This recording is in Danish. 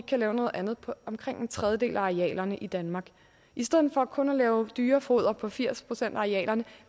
kan lave noget andet på omkring en tredjedel af arealerne i danmark i stedet for kun at lave dyrefoder på firs procent af arealerne